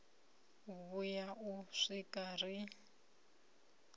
u vhuya u swika ri